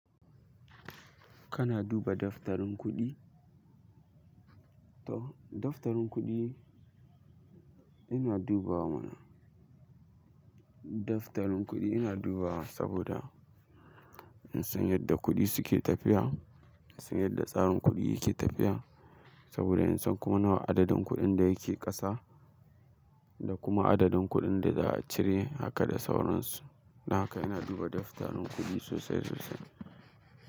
Kana duba daftarin kuɗi? To, daftarin kuɗi ina dubawa mana. Daftarin kuɗi ina duba saboda in san yadda kuɗi suke tafiya, in san yadda tsarin kuɗi yake tafiya. Saboda in san kuma nawa adadin kuɗin da yake ƙasa da kuma adadin kuɗin da za a cire haka da sauransu. Don haka ina duba daftarin kuɗi sosai sosai.